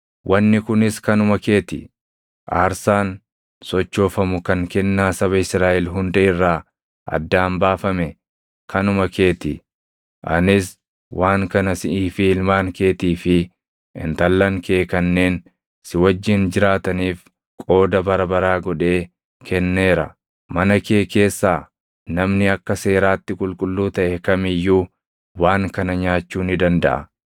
“Wanni kunis kanuma kee ti; aarsaan sochoofamu kan kennaa saba Israaʼel hunda irraa addaan baafame kanuma kee ti. Anis waan kana siʼii fi ilmaan keetii fi intallan kee kanneen si wajjin jiraataniif qooda bara baraa godhee kenneera. Mana kee keessaa namni akka seeraatti qulqulluu taʼe kam iyyuu waan kana nyaachuu ni dandaʼa.